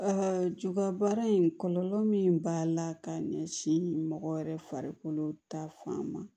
juga baara in kɔlɔlɔ min b'a la ka ɲɛsin mɔgɔ yɛrɛ farikolo ta fan ma